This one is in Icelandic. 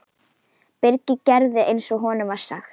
Birkir gerði eins og honum var sagt.